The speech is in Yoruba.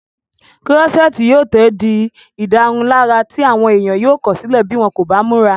kúrọ́sẹ́ẹ̀tì yóò tó di ìdárunlárà tí àwọn èèyàn yóò kọ̀sílẹ̀ bí wọ́n kò bá múra